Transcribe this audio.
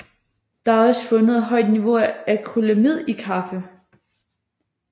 Der er også fundet et højt niveau af acrylamid i kaffe